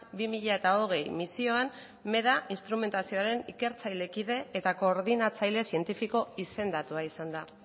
bi mila hogei misioan meda instrumentazioaren ikertzaile kide eta koordinatzaile zientifiko izendatua izan da